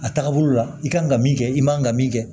A taagabolo la i kan ka min kɛ i man kan ka min kɛ